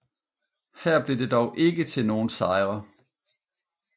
Her blev det dog ikke til nogen sejre